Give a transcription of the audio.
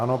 Ano.